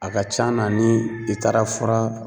A ka c'an na ni i taara fura